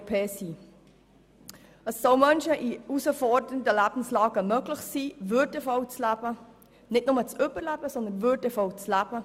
Es soll Menschen in herausfordernden Lebenslagen möglich sein, nicht nur zu überleben, sondern würdevoll zu leben.